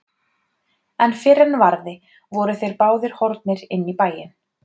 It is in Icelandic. En fyrr en varði voru þeir báðir horfnir inn í bæinn.